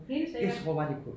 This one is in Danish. Helt sikkert